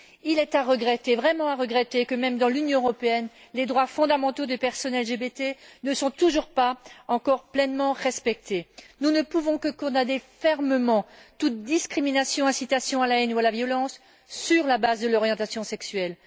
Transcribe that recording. Il est vraiment à regretter que, même dans l'Union européenne, les droits fondamentaux des personnes LGBT ne soient toujours pas pleinement respectés. Nous ne pouvons que condamner fermement toute discrimination, incitation à la haine ou à la violence sur la base de l'orientation sexuelle.